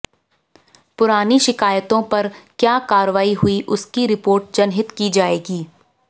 पुरानी शिकायतों पर क्या कार्रवाई हुई उसकी रिपोर्ट जनहित की जाएगी